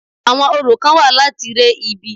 Àwọn orò kán wà láti re ibi.